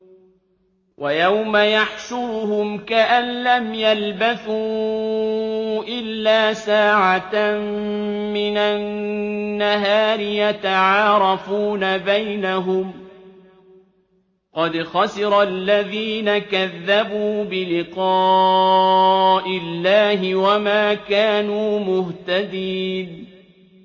وَيَوْمَ يَحْشُرُهُمْ كَأَن لَّمْ يَلْبَثُوا إِلَّا سَاعَةً مِّنَ النَّهَارِ يَتَعَارَفُونَ بَيْنَهُمْ ۚ قَدْ خَسِرَ الَّذِينَ كَذَّبُوا بِلِقَاءِ اللَّهِ وَمَا كَانُوا مُهْتَدِينَ